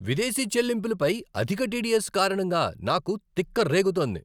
విదేశీ చెల్లింపులపై అధిక టిడిఎస్ కారణంగా నాకు తిక్క రేగుతోంది.